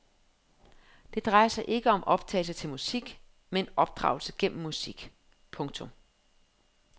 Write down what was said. Det drejer sig ikke om opdragelse til musik men opdragelse gennem musik. punktum